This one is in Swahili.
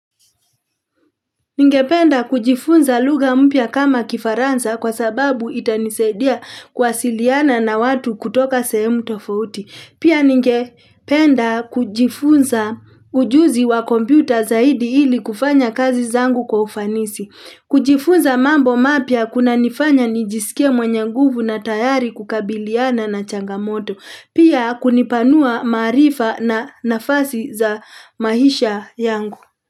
Ningependa kujifunza lugha mpya kama kifaransa kwa sababu itanisaidia kuwasiliana na watu kutoka sehemu tofauti. Pia ningependa kujifunza ujuzi wa kompyuta zaidi ili kufanya kazi zangu kwa ufanisi. Kujifunza mambo mapya kunanifanya nijiskie mwenye nguvu na tayari kukabiliana na changamoto. Pia kunipanua maarifa na nafasi za maisha yangu.